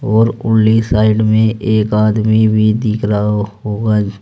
और उरली साइड में एक आदमी भी दिख रहा होगा।